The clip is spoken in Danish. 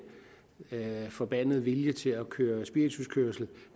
forbandede vilje til at køre spirituskørsel